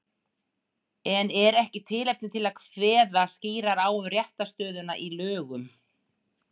En er ekki tilefni til að kveða skýrar á um réttarstöðuna í lögum?